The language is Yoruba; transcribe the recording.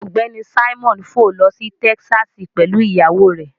Ọgbẹni Simon fò lọ si Tẹkisasi pẹlu iyawo rẹ